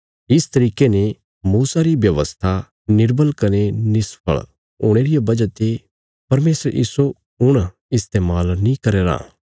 इस तरिके ने मूसा री व्यवस्था निर्बल कने निष्फल हुणे रिया वजह ते परमेशर इस्सो हुण इस्तेमाल नीं करया राँ